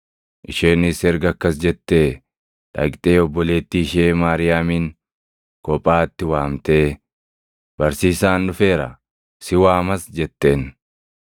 Isheenis erga akkas jettee dhaqxee obboleettii ishee Maariyaamin kophaatti waamtee, “Barsiisaan dhufeera; si waamas” jetteen.